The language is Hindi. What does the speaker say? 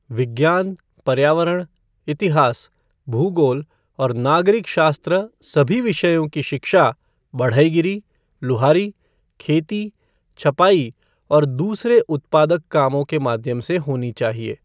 विज्ञान, पर्यावरण, इतिहास, भूगोल और नागरिग शास्त्र सभी विषयों की शिक्षा बढ़ईगीरी, लुहारी, खेती, छपाई और दूसरे उत्पादक कामों के माध्यम से होनी चाहिए।